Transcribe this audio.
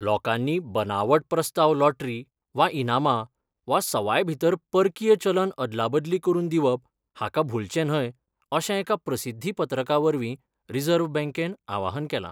लोकांनी बनावट प्रस्ताव लॉटरी वा इनामां वा सवाय भितर परकीय चलन अदला बदली करून दिवप हाका भुलचें न्हय अशें एका प्रसिद्धी पत्रका वरवीं रिझर्व्ह बँकेन आवाहन केलां.